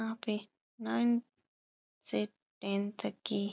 यहाँ पे नाइन से टेन तक की --